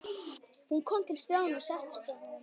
Hún kom til Stjána og settist hjá honum.